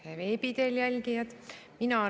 Head veebi teel jälgijad!